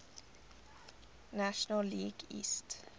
national league east